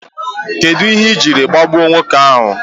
Kedụ ihe ị jiri gbagbuo nwoke ahu?